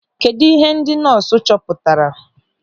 Kedụ ihe ndị nọọsụ chọpụtara?